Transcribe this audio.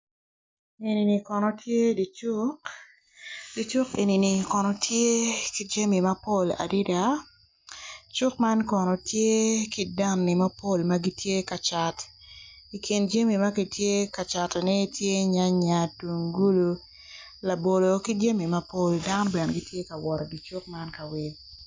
Eni kono tye dye cuk dye cuk eni kono tye ki jami mapol adada Puc man obuto piny kun puc man kala kome tye macol nicuc kun opero ite tye ka winyo jami. Puc man bene tye ka labolo ki jamimapol dano bene gitye ka wot i dye cuk ka wil.